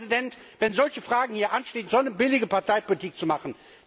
Herr Präsident, wenn solche Fragen hier anstehen, so eine billige Parteipolitik zu machen!